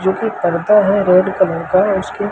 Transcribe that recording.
जो कि करता है रेड कलर का उसके--